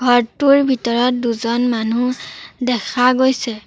ঘৰটোৰ ভিতৰত দুজন মানুহ দেখা গৈছে।